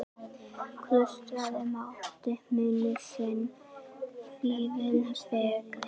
Klaustrið mátti muna sinn fífil fegri.